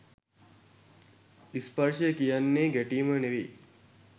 ස්පර්ශය කියන්නෙ ගැටීම නෙවෙයි.